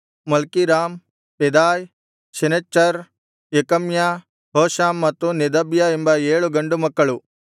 Malkiram Pedaiah Shenazzar Jekamiah Hoshama ಮತ್ತು Nedabiah ಎಂಬ ಏಳು ಗಂಡುಮಕ್ಕಳು